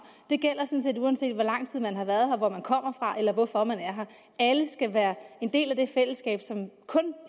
det gælder sådan set uanset hvor lang tid man har været her og hvor man kommer fra eller hvorfor man er her alle skal være en del af det fællesskab som kun